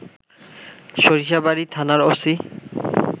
সরিষাবাড়ি থানার ওসি